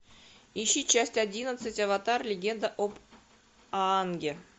ищи часть одиннадцать аватар легенда об аанге